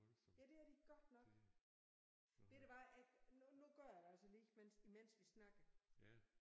Ja det er de godt nok. Ved du hvad jeg nu nu gør jeg altså lige mens imens vi snakker